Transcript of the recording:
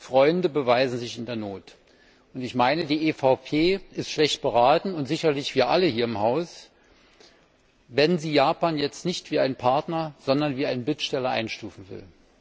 Freunde beweisen sich in der Not. Die EVP ist schlecht beraten und sicherlich wir alle hier im Haus wenn sie Japan jetzt nicht wie einen Partner, sondern wie einen Bittsteller einstufen will.